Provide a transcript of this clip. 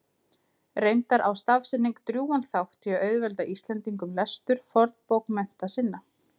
Reyndar á stafsetning drjúgan þátt í að auðvelda Íslendingum lestur fornbókmennta sinna.